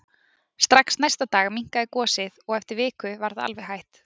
Strax næsta dag minnkaði gosið og eftir viku var það alveg hætt.